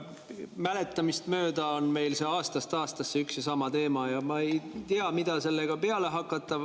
Minu mäletamist mööda on meil aastast aastasse üks ja sama teema ja ma ei tea, mida sellega peale hakata.